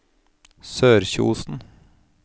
Sørkjosen